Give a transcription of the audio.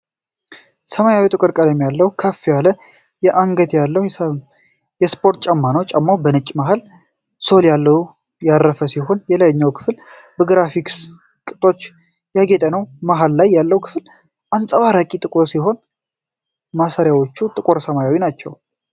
ሰማያዊና ጥቁር ቀለም ያለው፣ ከፍ ያለ አንገት ያለው የስፖርት ጫማ ነው። ጫማው በነጭ መሃል ሶል ላይ ያረፈ ሲሆን፣ የላይኛው ክፍል በግራፊክስ ቅጦች ያጌጠ ነው። መሀል ላይ ያለው ክፍል አንጸባራቂ ጥቁር ሲሆን፣ ማሰሪያዎቹ ጥቁር ሰማያዊ ናቸው።